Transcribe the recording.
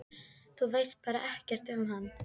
Þú veist bara ekkert um hann?